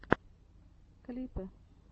клипы